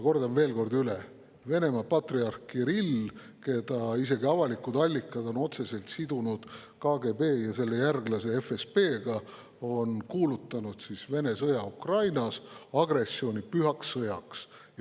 Kordan veel kord üle: Venemaa patriarh Kirill, keda isegi avalikud allikad on otseselt sidunud KGB ja selle järglase FSB‑ga, on kuulutanud Vene sõja Ukrainas, selle agressiooni pühaks sõjaks.